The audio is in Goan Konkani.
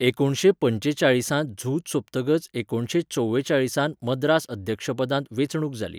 एकुणशे पंचेचाळीसांत झूज सोंपतकच एकुणशे चोवेचाळीसांत मद्रास अध्यक्षपदांत वेंचणूक जाली.